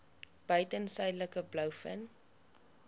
buiten suidelike blouvin